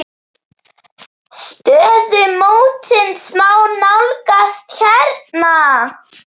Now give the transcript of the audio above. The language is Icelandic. Stöðu mótsins má nálgast hérna.